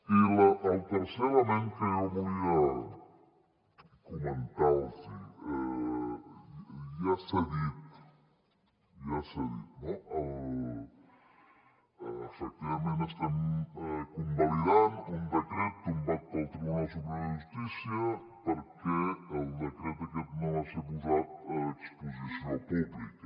i el tercer element que jo volia comentar los ja s’ha dit ja s’ha dit no efectivament estem convalidant un decret tombat pel tribunal superior de justícia perquè el decret aquest no va ser posat a exposició pública